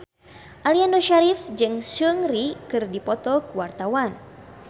Aliando Syarif jeung Seungri keur dipoto ku wartawan